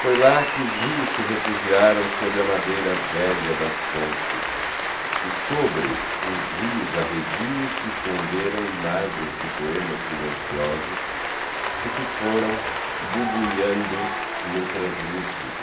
Foi lá que os rios se refugiaram sob a madeira velha das pontes e sobre os rios arredios se esconderam imagens de poemas silenciosos que se foram bubuiando no translúcido.